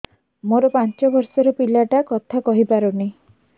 ମୋର ପାଞ୍ଚ ଵର୍ଷ ର ପିଲା ଟା କଥା କହି ପାରୁନି